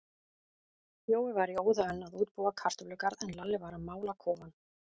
Jói var í óða önn að útbúa kartöflugarð, en Lalli var að mála kofann.